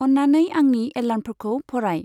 अन्नानै आंनि एलार्मफोरखौ फराय।